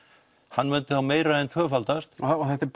hann myndi þá meira en tvöfaldast og þetta er